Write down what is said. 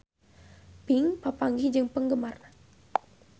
Pink papanggih jeung penggemarna